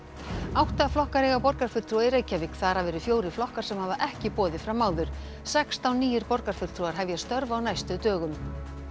átta flokkar eiga borgarfulltrúa í Reykjavík þar af eru fjórir flokkar sem hafa ekki boðið fram áður sextán nýir borgarfulltrúar hefja störf á næstu dögum